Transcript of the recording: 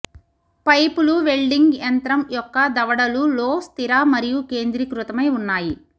పైపులు వెల్డింగ్ యంత్రం యొక్క దవడలు లో స్థిర మరియు కేంద్రీకృతమై ఉన్నాయి